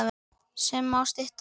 sem má stytta sem